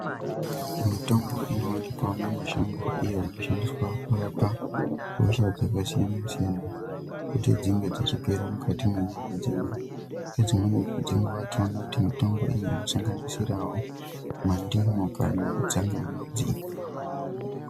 Mitombo ino wanikwa mu mashango iyo ino shandiswa kurapa hosha dzaka siyana siyana kuti dzinge dzichi gera mukati me nyama dzedu nge dzimweni dze nguva tinoona kuti mitombo iyi ino sanganisirawo ma ndimu kana tsangamidzi.